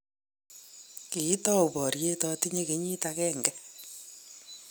kiitou boriet atinye kenyit agenge